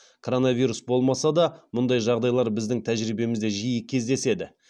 коронавирус болмаса да мұндай жағдайлар біздің тәжірибемізде жиі кездеседі